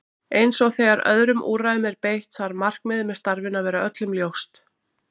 Eins og þegar öðrum úrræðum er beitt þarf markmiðið með starfinu að vera öllum ljóst.